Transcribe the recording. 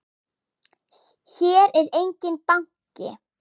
Hér er enginn banki!